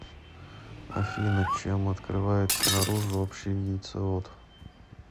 афина чем открывается наружу общий яйцевод